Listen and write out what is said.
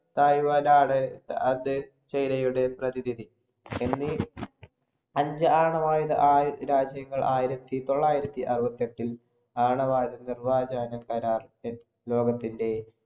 Taiwan‍ ആണ് അന്ന് ചൈനയുടെ പ്രതിനിധി. എന്നീ അഞ്ചു ആണവായുധ രാജ്യങ്ങള്‍ ആയിരത്തി തൊള്ളായിരത്തി അറുപത്തിയെട്ടില്‍ ആണവായുധ നിര്‍വാജാന കരാര്‍ ലോകത്തിന്‍റെ